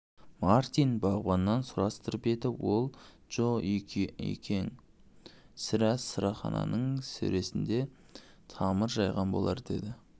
мартин бағбаннан сұрастырып еді ол джо-екең сірә сырахананың сөресіне тамыр жайған болар деді